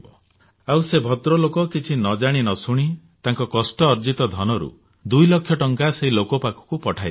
ଆଉ ସେ ଭଦ୍ରଲୋକ କିଛି ନଜାଣି ନଶୁଣି ତାଙ୍କ କଷ୍ଟ ଉପାର୍ଜିତ ଧନରୁ 2 ଲକ୍ଷ ଟଙ୍କା ସେହି ଲୋକ ପାଖକୁ ପଠାଇଦେଲେ